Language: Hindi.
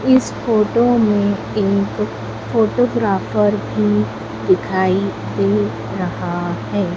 इस फोटो में एक फोटोग्राफर भी दिखाई दे रहा है।